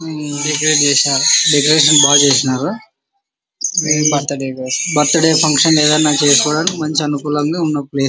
ఉమ్ decorate చేసినర్ decoration బాగా చేసినారు. Birthday function --